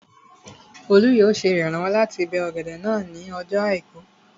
Olú yóò ṣe ìrànwọ́ láti bó ọ̀gẹ̀dẹ̀ náà ní ọjọ́ àìkú